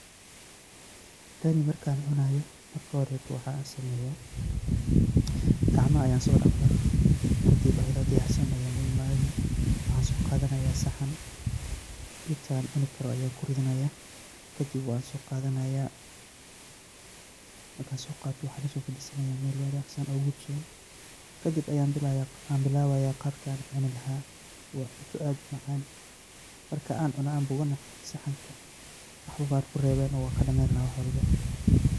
Tan markaadn cunaayo, waxaan sameyaa, gacmaha ayaan soo dhaqdaa, kadib ayadoo diyaarsan ayaa uimaanii, waxaan soo qaadanayaa saxan intaan cuni karo ayaan kuridanayaa, kadib waad soo qaadanayaa , markaadn soo qaato waxaan lasoo fadhiisanayaa meel wanaagsan oo gudsoon, kadib ayaa bilawayaa qaabkaan cuni lahaa, waa cunto aad umacaan ,markaan cuno oo bogana saxanka waxba kumaanan rebeen waan kadhameyn lahaa wax walbo.